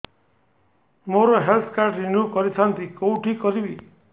ମୋର health card renew କରିଥାନ୍ତି କୋଉଠି କରିବି